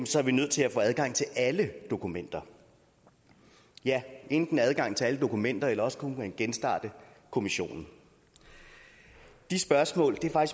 så er vi nødt til at få adgang til alle dokumenter ja enten adgang til alle dokumenter eller også kunne man genstarte kommissionen de spørgsmål er